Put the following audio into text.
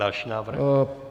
Další návrh?